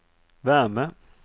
värme